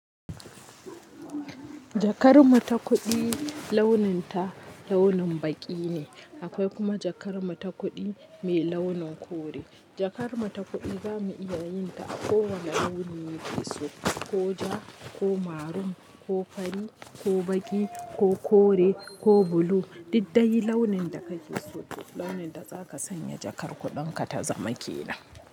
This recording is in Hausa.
Jakar mu ta kuɗi launin ta launin baƙi ne, akwai kuma jakar mu ta kuɗi mai launin kore. Jakar mu ta kuɗi za mu iya yin ta a kowane launin da ka so, ko ja, ko marun, ko fari, ko baƙi, ko kore, ko bulu, daidai launin da ka fi so, launin da za ka sanya jakar kuɗan ka ta zama ke nan.